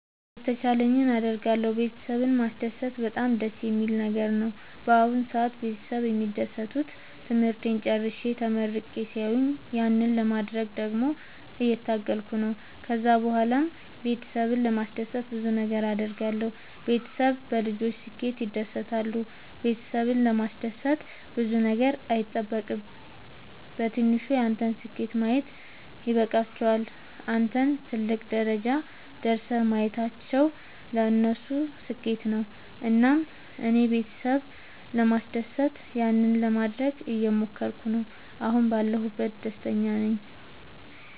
የተቻለኝን አደርጋለሁ ቤተሰብን ማስደሰት በጣም ደስ የሚል ነገር ነው። በአሁን ሰአት ቤተሰብ የሚደሰቱት ትምህርቴን ጨርሼ ተመርቄ ሲያዩኝ ያንን ለማድረግ ደግሞ እየታገልኩ ነው። ከዛ ብኋላም ቤተሰብን ለማስደሰት ብዙ ነገር አድርጋለሁ። ቤተሰብ በልጆች ስኬት ይደሰታሉ ቤተሰብን ለማስደሰት ብዙ ነገር አይጠበቅም በትንሹ ያንተን ስኬት ማየት ይበቃቸዋል። አንተን ትልቅ ደረጃ ደርሰህ ማየታቸው ለነሱ ስኬት ነው። እና እኔም ቤተሰብ ለማስደሰት ያንን ለማደረግ እየሞከርኩ ነው አሁን ባለሁበት ደስተኛ ናቸው።